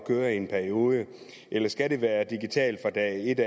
køre i en periode eller skal det være digitalt fra dag et